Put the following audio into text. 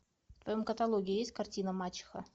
в твоем каталоге есть картина мачеха